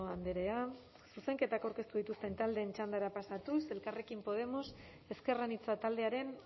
andrea zuzenketak aurkeztu dituzten taldeen txandara pasatuz elkarrekin podemos ezker anitza taldearen